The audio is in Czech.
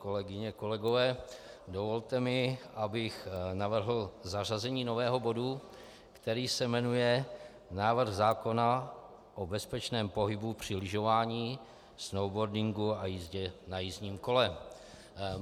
Kolegyně, kolegové, dovolte mi, abych navrhl zařazení nového bodu, který se jmenuje Návrh zákona o bezpečném pohybu při lyžování, snowboardingu a jízdě na jízdním kole.